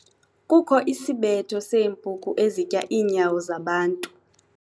Kukho isibetho seempuku ezitya iinyawo zabantu.